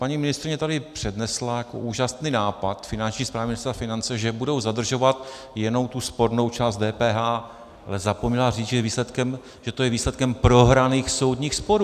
Paní ministryně tady přednesla jako úžasný nápad Finanční správy Ministerstva financí, že budou zadržovat jenom tu spornou část DPH, ale zapomněla říct, že to je výsledkem prohraných soudních sporů.